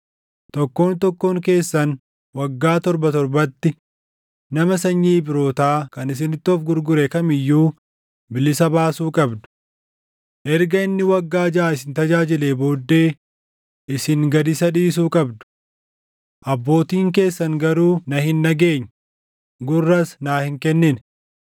‘Tokkoon tokkoon keessan waggaa torba torbatti nama sanyii Ibrootaa kan isinitti of gurgure kam iyyuu bilisa baasuu qabdu. Erga inni waggaa jaʼa isin tajaajilee booddee isin gad isa dhiisuu qabdu.’ Abbootiin keessan garuu na hin dhageenye; gurras naa hin kennine.